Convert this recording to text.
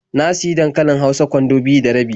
Na sayi dankalin hausa kwando biyu da rabi.